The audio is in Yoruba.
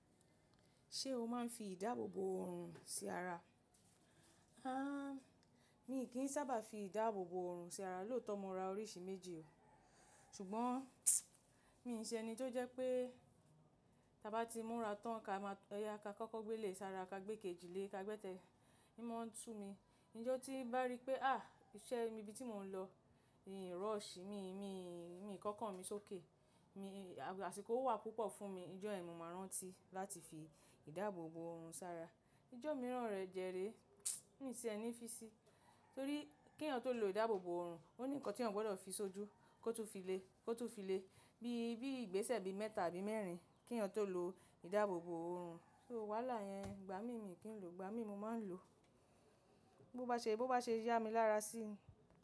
Ṣé o máa ń fi ìdáàbòbò òòrùn sí ara? Há! Mí kí ń sábà fi ìdáàbòbò òòrùn sí ara lóòótọ́ mo ra oríṣi méjì o. Ṣùgbọ́n mi n ṣe ẹni tí ó jẹ́ pé ta bá ti múra tán ka máa tó, ẹyà ka kọ́kọ́ gbé lè sára, ka gbé kejì lè ka gbẹ́tẹ̀. N mọ́n ń sú mi, ijọ́ tí bá rí pé háà! Ìṣe mi ibi tí mò ń lọ, mi rush mi, mi, mi kókanmi sókè. Mi, àsìkò wà púpọ̀ fún mi, ijọ́ yen ni máa rántí láti fi ìdáàbòbò òòrùn sára. Ijọ́ mìíràn rẹ jẹ ré. Mí ti ẹni fí sí. Torí kí èeyàn n tó lo ìdáàbòbò òòrùn, ó ní nǹkan tí èeyàn gbọ́dọ̀ fi sójú kó tún fi lè, kó tún fi lè. Bí, bí ìgbésẹ̀ bi mẹ́ta àbí mẹ́rin kí èèyàn tó lo ìdáàbòbò òòrùn. So wàhálà yẹn igba mi mí kí n lò, igba mi mo máa ń lò. Bo bá ṣe, bo bá ṣe ya mi lára sí.